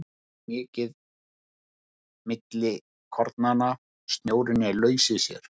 Loftrými er mikið milli kornanna, snjórinn er laus í sér.